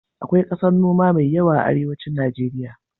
Akwai ƙasar noma mai yawa a arewacin Najeriya.